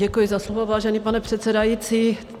Děkuji za slovo, vážený pane předsedající.